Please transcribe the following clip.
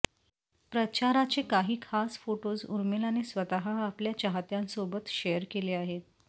प्रचाराचे काही खास फोटोज उर्मिलाने स्वतः आपल्या चाहत्यांसोबत शेअर केले आहेत